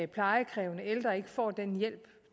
plejekrævende ældre ikke får den hjælp